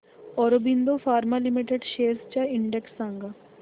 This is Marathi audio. ऑरबिंदो फार्मा लिमिटेड शेअर्स चा इंडेक्स सांगा